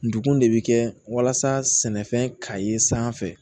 Ndugun de bɛ kɛ walasa sɛnɛfɛn ka ye sanfɛ